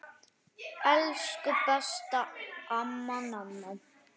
Elsku besta amma Nanna.